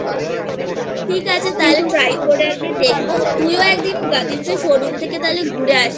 ঠিক আছেকিন্ত Try করে একদিন দেখবো তুইও একদিন Gatims এর Showroomথেকে একবার ঘুরে আসিস